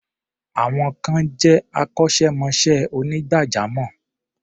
Some peple are professional barbers.